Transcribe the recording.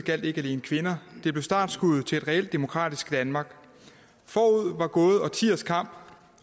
gjaldt ikke alene kvinder det blev startskuddet til et reelt demokratisk danmark forud var gået årtiers kamp